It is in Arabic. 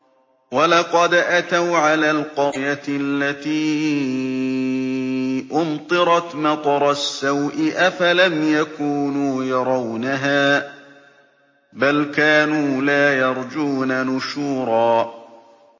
وَلَقَدْ أَتَوْا عَلَى الْقَرْيَةِ الَّتِي أُمْطِرَتْ مَطَرَ السَّوْءِ ۚ أَفَلَمْ يَكُونُوا يَرَوْنَهَا ۚ بَلْ كَانُوا لَا يَرْجُونَ نُشُورًا